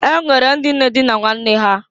E nwere ndị na-adịna nwanne ha.